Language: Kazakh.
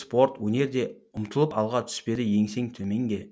спорт өнерде ұмтылып алға түспеді еңсең төменге